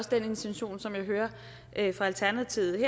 den intention som jeg hører fra alternativets